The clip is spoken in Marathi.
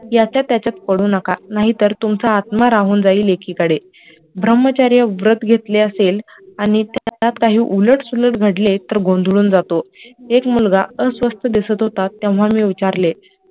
याच्यात्यांच्यात पडू नका नाही तर तुमचा आत्मा राहून जाईल एकीकडे ब्रह्मचर्य व्रत घेतले असेल आणि त्याच्यात काही उलट सुलट घडले तर गोधळून जातो एक मुलगा अस्वस्थ दिसत होता तेव्हा मी विचारले